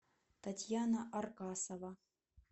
татьяна аркасова